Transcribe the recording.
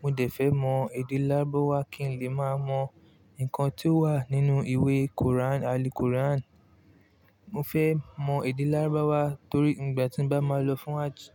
Mo dẹ̀ fẹ́ mọ èdè Lárúbáwá kí n lè má mọ nǹkan tí ó wà nínú ìwé Quran, Al-Quran. Mo fẹ́ mọ èdè Lárúbáwá torí ìgbà tí mo bá máa lọ fún hajji.